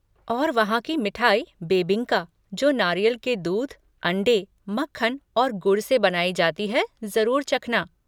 और वहाँ की मिठाई बेबिंका, जो नारियल के दूध, अंडे, मक्खन और गुड़ से बनाई जाती है, जरुर चखना।